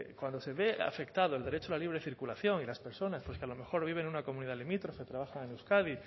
cuando se ve afectado el derecho a la libre circulación y las personas que pues a lo mejor viven en una comunidad limítrofe trabajan en euskadi